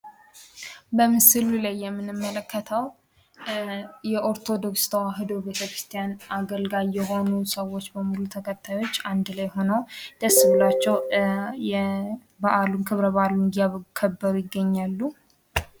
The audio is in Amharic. በምስሉ ላይ የምንመለከተው የኦርቶዶክስ ሀይማኖት አገልጋይ የሆኑ ሰዎች በሙሉ ተከታዮች አንድ ላይ ሁነው ደስ ብሏቸው በዓሉን እያከበሩ ይገኛሉ።